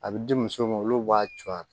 A bɛ di muso ma olu b'a co a